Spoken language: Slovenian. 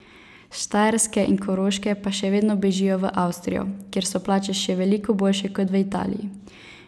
S Štajerske in Koroške pa še vedno bežijo v Avstrijo, kjer so plače še veliko boljše kot v Italiji.